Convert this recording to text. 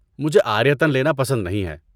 مجھے عاریۃً لینا پسند نہیں ہے۔